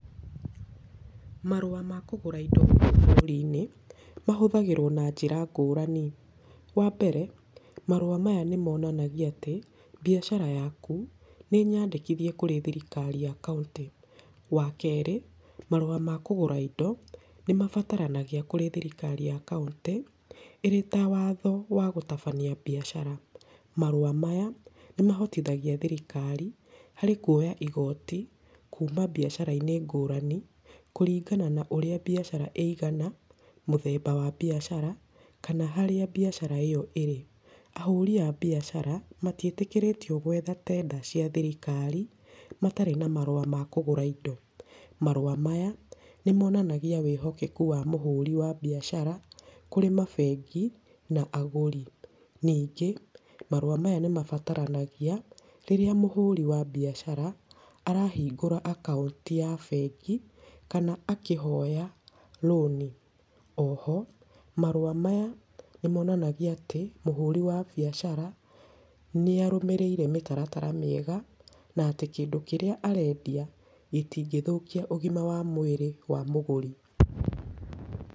Marũa ma kũgũra indo gũkũ bũrũri-inĩ, mahũthagĩrwo na njĩra ngũrani. Wa mbere, marũa maya nĩ monanagia atĩ, biacara yaku nĩnyandĩkithie kũrĩ thirikari ya kaũntĩ. Wa kerĩ, marũa ma kũgũra indo nĩ mabataranagia kũrĩ thirikari ya kaũntĩ, ĩrĩ ta watho wa gũtabania biacara. Marũa maya nĩ mahotithagia thirikari harĩ kuoya igooti kuuma biacara-inĩ ngũrani, kũringana na ũrĩa biacara ĩigana, mũthemba wa biacara, kana harĩa biacara ĩyo ĩrĩ. Ahũri a biacara matiĩtĩkĩrĩtio gwetha tenda cia thirikari, matarĩ na marũa ma kũgũra indo. Marũa maya nĩ monanagia wĩhokeku wa mũhũri wa biacara kũrĩ mabengi na agũri. Ningĩ marũa maya nĩ mabataranagia rĩrĩa mũhũri wa biacara arahingũra akaũnti ya bengi kana akĩhoya rũni. Oho marũa maya nĩ monanagia atĩ mũhũri wa biacara nĩ arũmĩrĩire mĩtaratara mĩega, na atĩ kĩndũ kĩrĩa arendia gĩtingĩthũkia ũgima wa mwĩrĩ wa mũgũri.